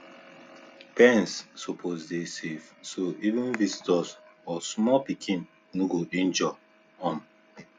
pens suppose dey safe so even visitors or small pikin no go injure um